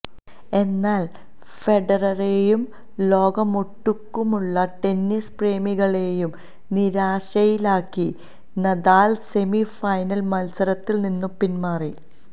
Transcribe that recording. എന്നാല് ഫെഡററേയും ലോകമൊട്ടുക്കുമുള്ള ടെന്നിസ് പ്രേമികളേയും നിരാശയിലാക്കി നദാല് സെമി ഫൈനല് മത്സരത്തില് നിന്ന് പിന്മാറി